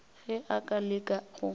ge a ka leka go